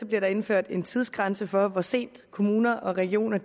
bliver der indført en tidsgrænse for hvor sent kommuner og regioner